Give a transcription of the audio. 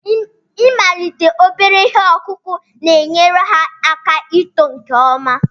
Ịmalite obere ihe ọkụkụ na-enyere ha aka ito nke ọma.